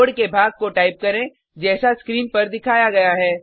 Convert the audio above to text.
code के भाग को टाइप करें जैसा स्क्रीन पर दिखाया गया है